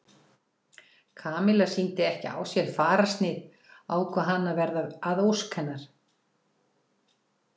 Kamilla sýndi ekki á sér fararsnið ákvað hann að verða að ósk hennar.